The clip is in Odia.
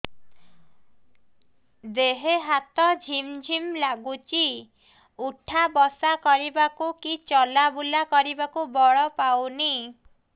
ଦେହେ ହାତ ଝିମ୍ ଝିମ୍ ଲାଗୁଚି ଉଠା ବସା କରିବାକୁ କି ଚଲା ବୁଲା କରିବାକୁ ବଳ ପାଉନି